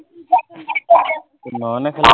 নয়নে খেলে নিকি?